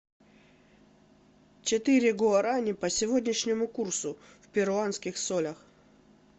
четыре гуарани по сегодняшнему курсу в перуанских солях